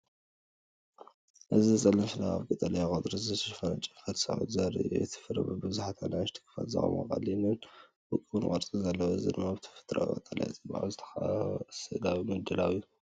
እዚ ጸሊም ፍረ ኣብ ቀጠልያ ቆጽሊ ዝተሸፈነ ጨንፈር ተሰቒሉ ዘርኢ እዩ። እቲ ፍረ ብብዙሓት ንኣሽቱ ክፋላት ዝቖመ ኮይኑ ቀሊልን ውቁብን ቅርጺ ኣለዎ። እዚ ድማ ብተፈጥሮኣዊ ቀጠልያ ጽባቐ ዝተኸበበ ስእላዊ ምድላው እዩ።